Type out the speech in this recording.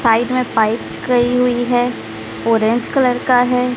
Side में pipe गई हुई है ऑरेंज कलर का है।